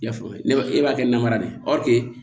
I y'a faamu ne b'a e b'a kɛ namara de ye